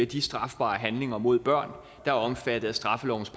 de strafbare handlinger mod børn der er omfattet af straffelovens